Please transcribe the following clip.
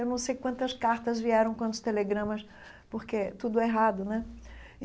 Eu não sei quantas cartas vieram, quantos telegramas, porque tudo é errado, né?